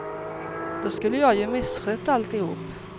Då skulle jag ju misskött alltihop.